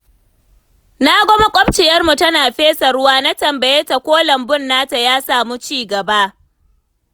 Na ga maƙwabciyarmu tana fesa ruwa, na tambaye ta ko lambun nata ya samu ci gaba.